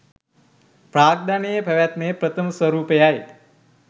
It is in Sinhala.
ප්‍රාග්ධනයේ පැවැත්මේ ප්‍රථම ස්වරූපයයි